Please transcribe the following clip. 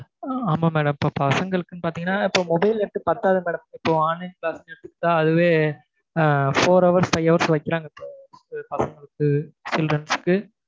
ஆமா madam இப்ப பசங்களுக்குன்னு பாத்தீங்கன்னா இப்ப mobile net பத்தாது இப்ப online class னு எடுத்துகிட்டா அதுவே four hours five hours வைக்கிறாங்க இப்ப பசங்களுக்கு children க்கு